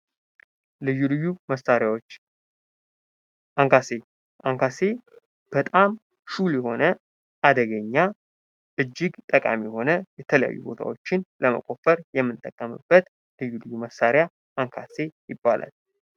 ልዩ ልዩ መሳሪያዎች አንካሴ አንካሴ በጣም ሹል የሆነ አደገኛ እጅግ ጠቃሚ የሆነ የተለያዩ ቦታዎችን ለመቆፈር የምንጠቀምበት ልዩ ልዩ መሳሪያ አንካሴ ይባላል።